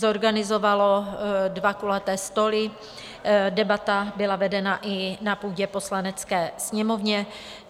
Zorganizovalo dva kulaté stoly, debata byla vedena i na půdě Poslanecké sněmovny.